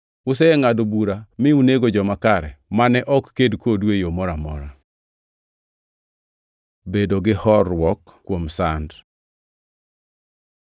Usengʼado bura mi unego joma kare, mane ok ked kodu e yo moro amora. Bedo gi horuok kuom sand